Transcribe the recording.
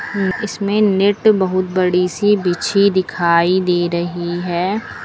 इसमें नेट बहुत बड़ी सी बिछी दिखाई दे रही है।